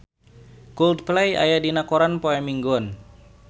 Coldplay aya dina koran poe Minggon